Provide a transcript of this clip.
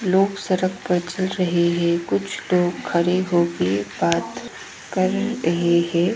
लोग सड़क पर चल रहे है कुछ तो खड़े हो के बात कर रहे है।